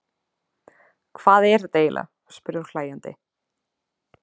Hvað er þetta eiginlega, spurði hún hlæjandi.